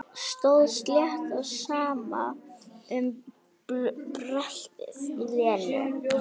Stóð slétt á sama um bröltið í Lenu.